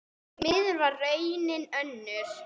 Því miður varð raunin önnur.